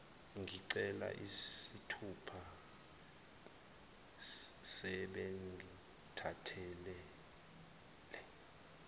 ngincela izithupha sebengithathele